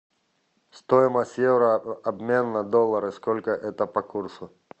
стоимость евро обмен на доллары сколько это по курсу